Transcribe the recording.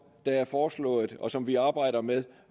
er foreslået og som vi arbejder med